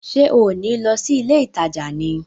Ṣé ò ní lọ sí ilé ìtajà ni?